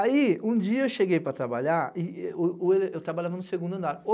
Aí, um dia eu cheguei para trabalhar e eu trabalhava no segundo andar.